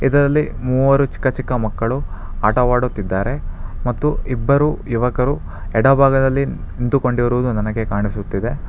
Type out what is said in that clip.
ಇದರಲ್ಲಿ ಮೂವರು ಚಿಕ್ಕ ಚಿಕ್ಕ ಮಕ್ಕಳು ಆಟವಾಡುತ್ತಿದ್ದಾರೆ ಮತ್ತು ಇಬ್ಬರು ಯುವಕರು ಎಡಭಾಗದಲ್ಲಿ ನಿಂತುಕೊಂಡಿರುವುದು ನನಗೆ ಕಾಣಿಸುತ್ತಿದೆ.